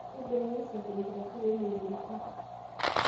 Keibooyo usafi enkitasuro oo moyiaritin